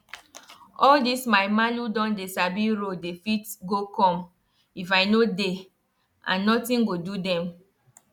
how country um people take dey do things dey make am dey make am hard for root of okra and beans to grow.